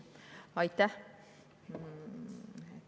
Aitäh!